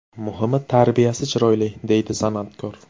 Muhimi, tarbiyasi chiroyli”, deydi san’atkor.